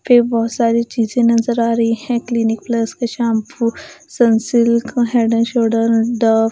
फिर बहुत सारी चीजें नजर आ रही हैं क्लीनिक प्लस के shampoo Sunsilk head and shoulder the --